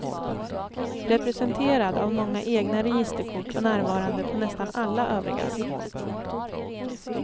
Representerad av många egna registerkort och närvarande på nästan alla övrigas.